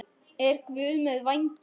Er Guð með vængi?